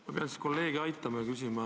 Ma pean siis kolleegi aitama.